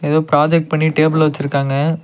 ஏதோ ப்ராஜெக்ட் பண்ணி டேபிள்ல வெச்சிருக்காங்க.